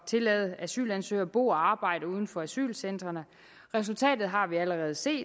tillade asylansøgere at bo og arbejde uden for asylcentrene resultatet har vi allerede set